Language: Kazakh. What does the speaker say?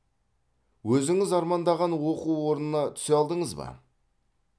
өзіңіз армандаған оқу орнына түсе алдыңыз ба